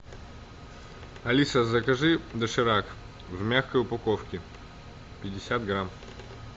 алиса закажи доширак в мягкой упаковке пятьдесят грамм